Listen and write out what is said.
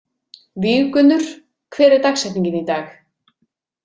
Víggunnur, hver er dagsetningin í dag?